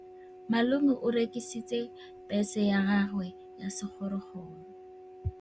Malome o rekisitse bese ya gagwe ya sekgorokgoro.